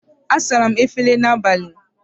Asara m efere n'abalị.